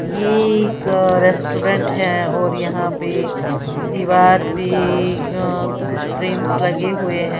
ये एक रेस्टोरेंट है और यहां पे दीवार पे अ कुछ फ्रेम्स लगे हुए है।